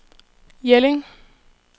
Jelling